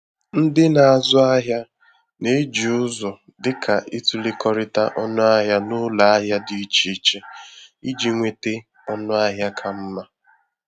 Ndị na-azụ ahịa na-eji ụzọ dịka itụlekọrịta ọnụahịa n’ụlọ ahịa dị iche iche iji nweta ọnụahịa ka mma.